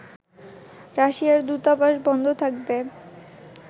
রাশিয়ার দূতাবাস বন্ধ থাকবে